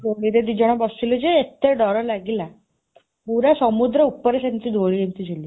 ଦୋଳିରେ ଦି ଜଣ ବସିଲୁ ଯେ ଏତେ ଡର ଲାଗିଲା ପୁରା ସମୁଦ୍ର ଉପରେ ସେମିତି ଦୋଳି ଏମିତି ଝୁଲୁଛି।